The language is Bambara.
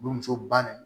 Burmuso ba de